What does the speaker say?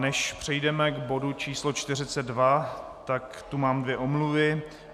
Než přejdeme k bodu číslo 42, tak tu mám dvě omluvy.